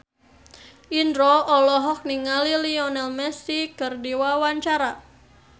Indro olohok ningali Lionel Messi keur diwawancara